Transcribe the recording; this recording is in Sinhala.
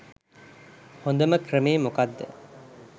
හොඳම ක්‍රමේ මොකද්ද